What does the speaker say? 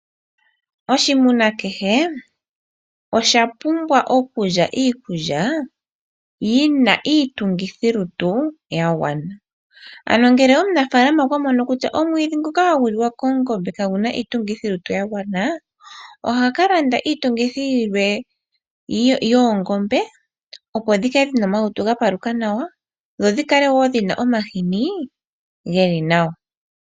Oshimuna kehe osha pumbwa okulya iikulya yina iitungithilutu yagwana. Omunafalaama ngele okwa mono kutyaomwiidhi nguka kaguna iitungithilutu yagwana nena ohaka kalanda iikulya iitungithilutu yilwe yoongombe, opo dhi kale dhina omalutu gapaluka nawa dho dhikale dhina omahini geli nawa.